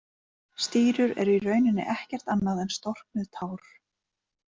Stírur eru í rauninni ekkert annað en storknuð tár.